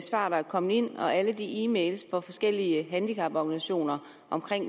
er kommet ind og alle de e mails fra forskellige handicaporganisationer om